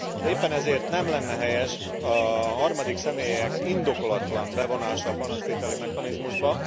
Éppen ezért nem lenne helyes a harmadik személyek indokolatlan bevonása a panasztételi mechanizmusba.